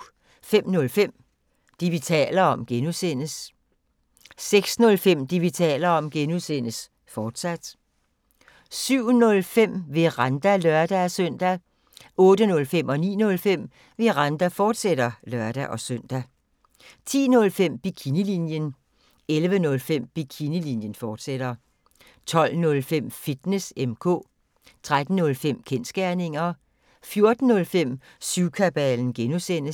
05:05: Det, vi taler om (G) 06:05: Det, vi taler om (G), fortsat 07:05: Veranda (lør-søn) 08:05: Veranda, fortsat (lør-søn) 09:05: Veranda, fortsat (lør-søn) 10:05: Bikinilinjen 11:05: Bikinilinjen, fortsat 12:05: Fitness M/K 13:05: Kensgerninger 14:05: Syvkabalen (G)